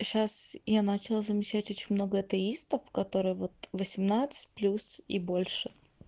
сейчас я начала замечать очень много атеистов которые восемнадцать плюс и больше